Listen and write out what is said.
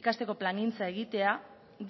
ikasteko plangintza egitea